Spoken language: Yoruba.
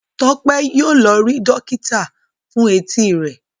Tope yíò lọ rí dókítà fún Etí rẹ.